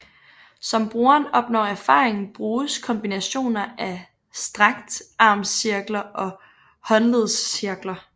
Som brugeren opnår erfaring bruges kombinationer af strakt arms cirkler og håndleds cirkler